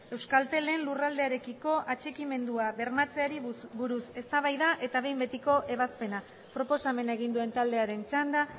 euskaltelen lurraldearekiko atxikimendua bermatzeari buruz eztabaida eta behin betiko ebazpena proposamena egin duen taldearen txanda